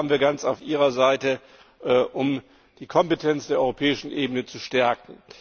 Da waren wir also ganz auf Ihrer Seite, um die Kompetenz der europäischen Ebene zu stärken.